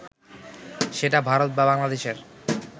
সেটা ভারত বা বাংলাদেশের